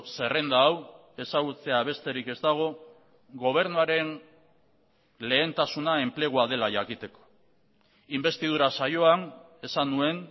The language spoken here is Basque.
zerrenda hau ezagutzea besterik ez dago gobernuaren lehentasuna enplegua dela jakiteko inbestidura saioan esan nuen